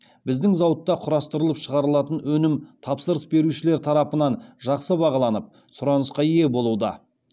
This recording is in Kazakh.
біздің зауытта құрастырылып шығарылатын өнім тапсырыс берушілер тарапынан жақсы бағаланып сұранысқа ие болуда